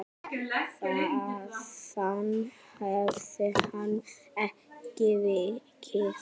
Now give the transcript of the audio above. Þaðan hefur hann ekki vikið.